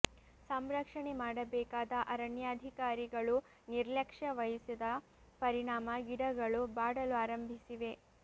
ಸಂರಕ್ಷಣೆ ಮಾಡಬೇಕಾದ ಅರಣ್ಯಾಧಿಕಾರಿಗಳು ನಿರ್ಲಕ್ಷ್ಯ ವಹಿಸಿದ ಪರಿಣಾಮ ಗಿಡಗಳು ಬಾಡಲು ಆರಂಭಿಸಿವೆ